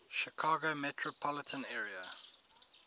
chicago metropolitan area